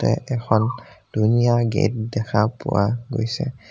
এখন ধুনীয়া গেট দেখা পোৱা গৈছে।